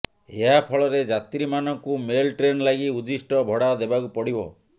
ଏହାଫଳରେ ଯାତ୍ରୀମାନଙ୍କୁ ମେଲ ଟ୍ରେନଲାଗି ଉଦ୍ଦିଷ୍ଟ ଭଡ଼ା ଦେବାକୁ ପଡ଼ିବ